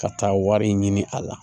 Ka taa wari ɲini a la